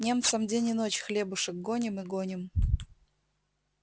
немцам день и ночь хлебушек гоним и гоним